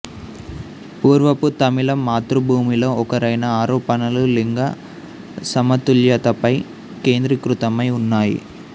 పూర్వపు తమిళం మాతృభూమిలో ఒకరైన ఆరోపణలు లింగ సమతుల్యతపై కేంద్రీకృతమై ఉన్నాయి